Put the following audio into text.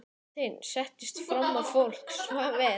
Marteinn settist fram á, fólk svaf enn.